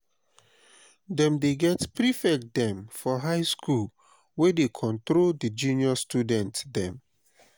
dem dey get prefect dem for high skool wey dey control di junior student dem.